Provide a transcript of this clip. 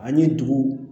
Ani dugu